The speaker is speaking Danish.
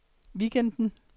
weekenden